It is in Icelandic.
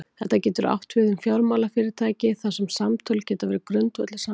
Þetta getur átt við um fjármálafyrirtæki þar sem samtöl geta verið grundvöllur samninga.